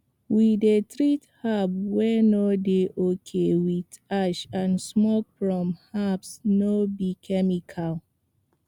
we dey treat herbs wey no dey okay with ash and smoke from herbs no be chemical